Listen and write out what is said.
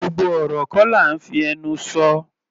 Gbogbo ọ̀rọ̀ kọ́ là ńfí ẹnu sọ.